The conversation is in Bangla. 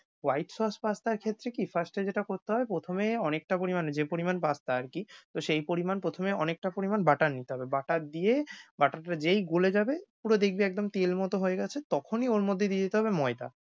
White sauce pasta এর ক্ষেত্রে কি first এ যেটা করতে হয় প্রথমেই অনেকটা পরিমাণে যে পরিমাণ pasta আর কী তো সেই পরিমাণ প্রথমে অনেকটা পরিমাণ butter নিতে হবে। butter দিয়ে butter টা যেই গলে যাবে পুরো দেখবি একদম তেলমত হয়ে গেছে তখনই ওর মধ্যে দিয়ে দিতে হবে ময়দা